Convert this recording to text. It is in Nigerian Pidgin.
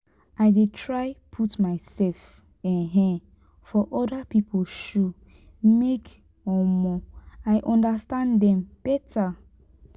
i dey try put mysef um for oda pipo shoe make um i understand dem beta.